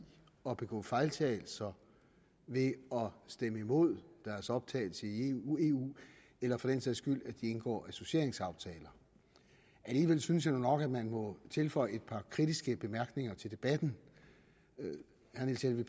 at begå fejltagelser ved at stemme imod deres optagelse i eu eller for den sags skyld forhindre at de indgår associeringsaftaler alligevel synes jeg nu nok at man må tilføje et par kritiske bemærkninger til debatten herre